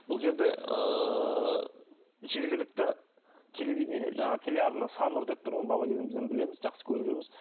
бұл жерде ыыы жергілікті телевидение жаңағы телеарна саннұр деп тұр ғой бала кезімізден білеміз жақсы көріп жүрміз